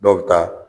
Dɔw bɛ taa